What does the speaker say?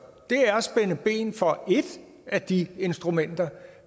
er at spænde ben for et af de instrumenter